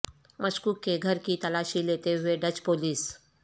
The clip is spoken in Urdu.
مشکوک کے گھر کی تلاشی لیتے ہوئے ڈچ پولیس